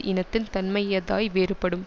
இனத்தின் தன்மையதாய் வேறுபடும்